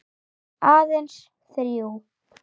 Aðeins þrjú.